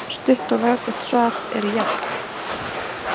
Stutt og laggott svar er já.